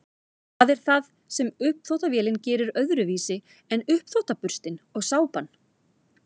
hvað er það sem uppþvottavélin gerir öðruvísi en uppþvottaburstinn og sápan